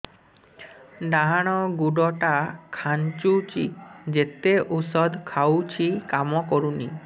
ଡାହାଣ ଗୁଡ଼ ଟା ଖାନ୍ଚୁଚି ଯେତେ ଉଷ୍ଧ ଖାଉଛି କାମ କରୁନି